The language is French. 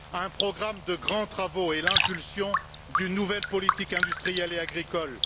un programme de grands travaux et l'impulsion d'une nouvelle politique industrielle et agricole